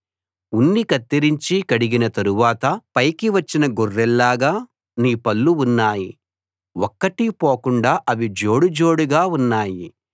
ఉన్ని కత్తిరించి కడిగిన తరువాత పైకి వచ్చిన గొర్రెల్లాగా నీ పళ్ళు ఉన్నాయి ఒక్కటీ పోకుండా అవి జోడుజోడుగా ఉన్నాయి